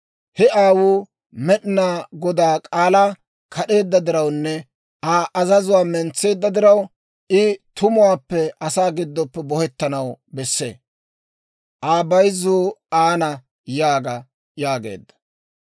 He aawuu Med'inaa Godaa k'aalaa kad'eedda dirawunne Aa azazuwaa mentseedda diraw, I tumuwaappe asaa gidoppe bohettanaw besse; Aa bayzzuu aana› yaaga» yaageedda.